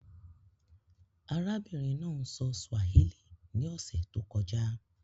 Àràbìnrin náà sọ Swàhílí ní òṣè tó kọ́jà.